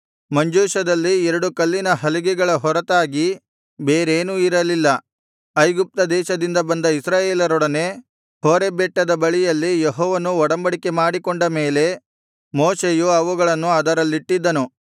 ಮಂಜೂಷದಲ್ಲಿ ಎರಡು ಕಲ್ಲಿನ ಹಲಗೆಗಳ ಹೊರತಾಗಿ ಬೇರೇನೂ ಇರಲಿಲ್ಲ ಐಗುಪ್ತ ದೇಶದಿಂದ ಬಂದ ಇಸ್ರಾಯೇಲರೊಡನೆ ಹೋರೇಬ್ ಬೆಟ್ಟದ ಬಳಿಯಲ್ಲಿ ಯೆಹೋವನು ಒಡಂಬಡಿಕೆ ಮಾಡಿಕೊಂಡ ಮೇಲೆ ಮೋಶೆಯು ಅವುಗಳನ್ನು ಅದರಲ್ಲಿಟ್ಟಿದ್ದನು